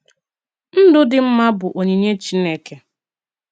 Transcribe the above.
Ndụ dị mma bụ “onyinye Chineke.”